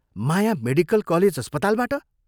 माया, medical college अस्पतालबाट?